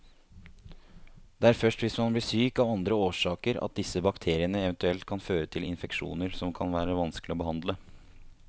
Det er først hvis man blir syk av andre årsaker at disse bakteriene eventuelt kan føre til infeksjoner som kan være vanskelig å behandle.